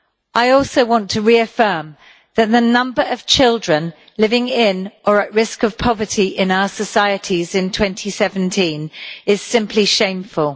I also want to reiterate that the number of children living in, or at risk of, poverty in our societies in 2017 is simply shameful.